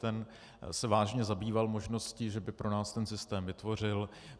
Ten se vážně zabýval možností, že by pro nás ten systém vytvořil.